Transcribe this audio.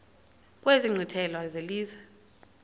kwezi nkqwithela zelizwe